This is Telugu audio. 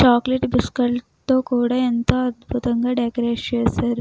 చాక్లెట్ బిస్కెట్లతో కూడా ఎంతో అందంగా డెకరేట్ చేశారు.